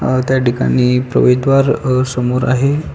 अ त्याठिकाणी प्रवेशद्वार अ समोर आहे.